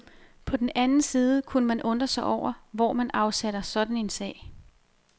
På den anden side kunne man undre sig over, hvor man afsætter sådan en sag.